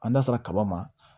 An da sera kaba ma